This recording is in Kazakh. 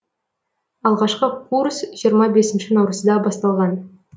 алғашқы курс жиырма бесінші наурызда басталған